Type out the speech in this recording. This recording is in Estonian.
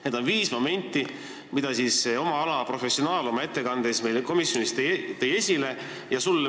Need on viis momenti, mida tõi komisjonis oma ettekandes esile oma ala professionaal.